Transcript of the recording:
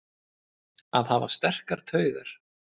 Að hafa sterkar taugar